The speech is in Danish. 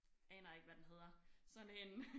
Aner ikke hvad den hedder sådan en